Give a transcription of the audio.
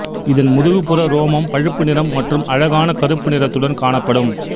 இதன் முதுகுப்புற ரோமம் பழுப்பு நிறம் மற்றும் அழகான கருப்பு நிறத்துடன் காணப்படும்